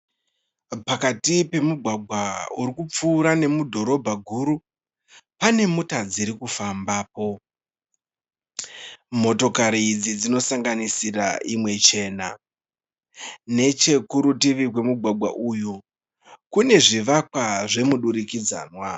Pakati pemugwagwa uri kupfuura nemudhorobha guru pane mota dziri kufambapo, motokari idzi dzinosanganisira imwe chena. Nechekurutivi kwemugwagwa uyu kune zvivakwa zvemudurikidzanwa.